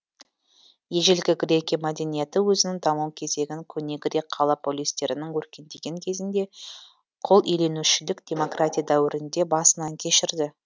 ежелгі грекия мәдениеті өзінің даму кезеңін көне грек қала полистерінің өркендеген кезінде құлиеленушілік демократия дәуірінде басынан кешірді